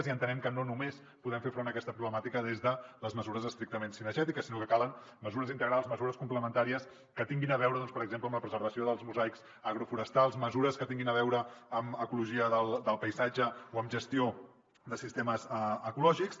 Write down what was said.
i entenem que no només podem fer front a aquesta problemàtica des de les mesures estrictament cinegètiques sinó que calen mesures integrals mesures complementàries que tinguin a veure doncs per exemple amb la preservació dels mosaics agroforestals mesures que tinguin a veure amb ecologia del paisatge o amb gestió de sistemes ecològics